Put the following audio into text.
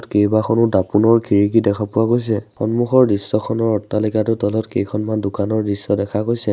কেইবাখনো দাপোনৰ খিৰিকী দেখা পোৱা গৈছে সন্মুখৰ দৃশ্যখনৰ অট্টালিকাটোৰ তলত কেইখনমান দোকানৰ দৃশ্য দেখা গৈছে।